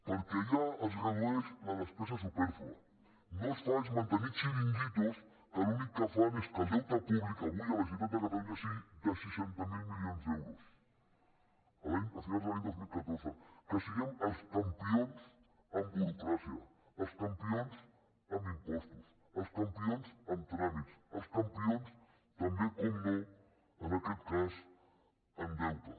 perquè allà es redueix la despesa supèrflua el que no es fa és mantenir xiringuitos que l’únic que fan és que el deute públic avui a la generalitat de catalunya sigui de seixanta miler milions d’euros a finals de l’any dos mil catorze que siguem els campions en burocràcia els campions en impostos els campions en tràmits els campions també és clar en aquest cas en deute